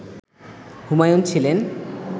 হুমায়ুন ছিলেন